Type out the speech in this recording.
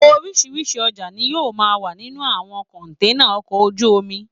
Oríṣiríṣi ọjà ni yóò máa wà nínú àwọn kọ̀ǹténà ọkọ̀ ojú omi